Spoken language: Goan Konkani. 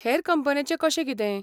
हेर कंपन्यांचें कशें कितें?